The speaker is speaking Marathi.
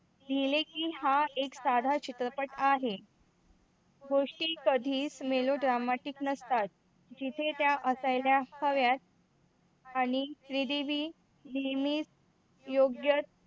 लिहिले की हा एक साधा चित्रपट आहे. गोष्टी कधी च मीलू dramatic नसतात. जिथे ते असायला हव्यात आणि श्रीदेवी नेहमीच योग्य